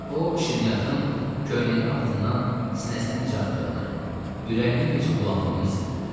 O, şirniyyatın köynəyinin altından sinəsinə necə axdığını, ürəyinin necə bulandığını hiss etdi.